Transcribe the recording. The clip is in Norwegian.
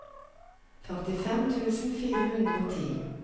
førtifem tusen fire hundre og ti